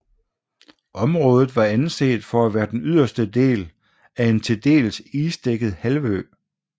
Området var anset for at være den yderste del af en til dels isdækket halvø